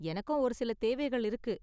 எனக்கும் ஒரு சில தேவைகள் இருக்கு.